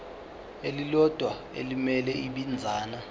elilodwa elimele ibinzana